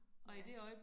Ja